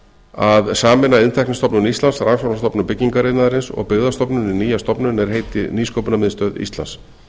að sameina iðntæknistofnun íslands rannsóknastofnun byggingariðnaðarins og byggðastofnun í nýja stofnun er heiti nýsköpunarmiðstöð íslands